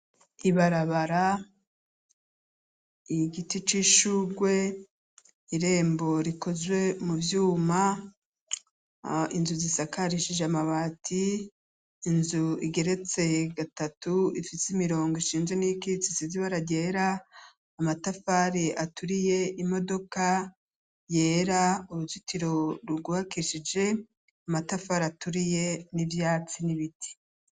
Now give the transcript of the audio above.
Ibarabara, igiti c'ishurwe, irembo rikozwe mu vyuma, inzu zisakarishije amabati, inzu igeretse gatatu ifise imirongo ishinze n'iyikitse isize ibara ryera, amatafari aturiye, imodoka yera, uruzitiro rwubakishije amatafari aturiye n'ivyatsi n'ibiti.